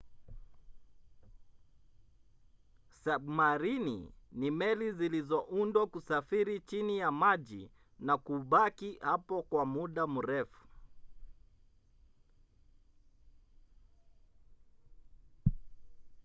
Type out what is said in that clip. sabmarini ni meli zilizoundwa kusafiri chini ya maji na kubaki hapo kwa muda mrefu